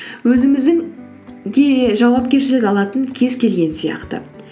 өзіміздің жауапкершілік алатын кез келген сияқты